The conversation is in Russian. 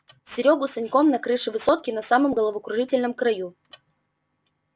серёгу с саньком на крыше высотки на самом головокружительном краю